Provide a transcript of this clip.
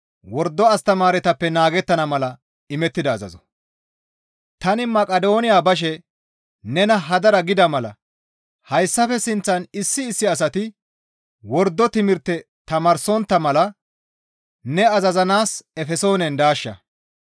Tani Maqidooniya bashe nena hadara gida mala hayssafe sinththan issi issi asati wordo timirte tamaarsontta mala ne azazanaas Efesoonen daashsha.